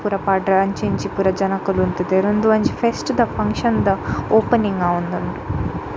ಪೂರ ಪಾಡ್ರೆ ಅಂಚಿ ಇಂಚಿ ಪೂರ ಜನಕುಲು ಉಂತುದೆರ್ ಉಂದು ಒಂಜಿ ಫೆಸ್ಟ್ ದ ಫಂಕ್ಷನ್ ದ ಓಪನಿಂಗ್ ಆವೊಂದುಂಡು .